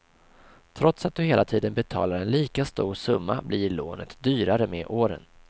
Trots att du hela tiden betalar en lika stor summa blir lånet dyrare med åren.